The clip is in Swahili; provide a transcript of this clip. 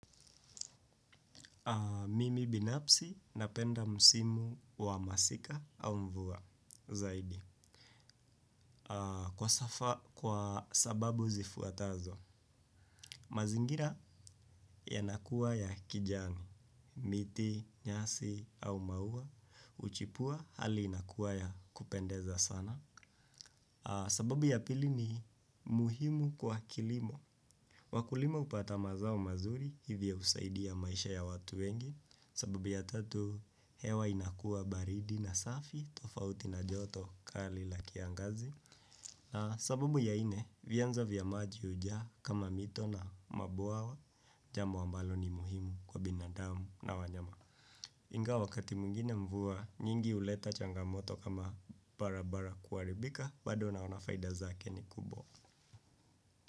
Mimi binafsi na penda msimu wa masika au mvua zaidi. Kwa sababu zifuatazo, mazingira yanakuwa ya kijani, miti, nyasi au maua, huchipua hali inakuwa ya kupendeza sana. Sababu ya pili ni muhimu kwa kilimo. Wakulima hupata mazao mazuri hivyo husaidia maisha ya watu wengi sababu ya tatu hewa inakua baridi na safi tofauti na joto kali la kiangazi na sababu ya nne vianza vya maji hujaa kama mito na mabwawa jambo ambalo ni muhimu kwa binadamu na wanyama. Ingawa wakati mwingine mvua nyingi huleta changamoto kama barabara kuharibika bado naona faida zake ni kubwa.